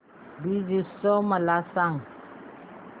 ब्रज उत्सव मला सांग